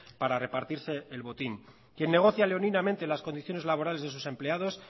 para repartirse el botín quien negocia leoninamente las condiciones laborales de sus empleados